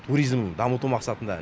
туризмін дамыту мақсатында